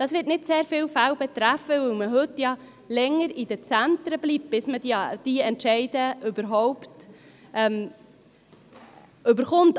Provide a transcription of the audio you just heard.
Dies wird nicht sehr viele Fälle betreffen, da man heute länger in den Zentren bleibt, bis die Entscheide überhaupt fallen.